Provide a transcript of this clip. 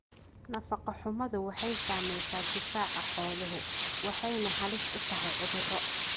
Nafaqo-xumadu waxay saamaysaa difaaca xooluhu, waxayna halis u tahay cudurro.